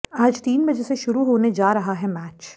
आज तीन बजे से शुरू होने जा रहा है मैच